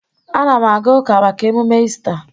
Anam aga uka maka emume Ista